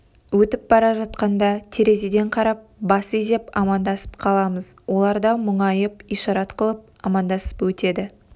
өтіп бара жатқанда терезеден қарап бас изеп амандасып қаламыз олар да мұңайып ишарат қылып амандасып өтеді